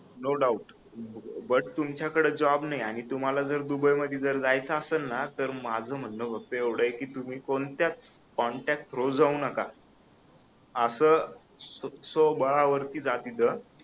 no doubt but तुमच्याकडे job नाही आहे आणि तुम्हाला जर दुबई मध्ये जायच आसल ना तर माझ म्हणण फक्त एवढय की कोणत्याच कॉन्टॅक्ट थ्रू जाऊ नका आस स्वबळावरती जा तिथ